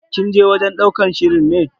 Kin je wajen ɗaukar shirin ne?